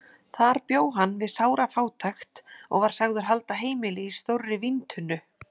Þar bjó hann við sára fátækt og var sagður halda heimili í stórri víntunnu.